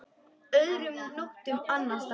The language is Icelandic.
Öðrum nóttum annars staðar?